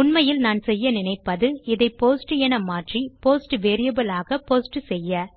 உண்மையில் நான் செய்ய நினைப்பது இதை போஸ்ட் என மாற்றி போஸ்ட் வேரியபிள் ஆக போஸ்ட் செய்ய